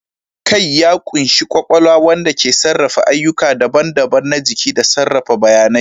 Kai ya ƙunshi kwakwalwa, wanda ke sarrafa ayyuka daban-daban na jiki da sarrafa bayanai.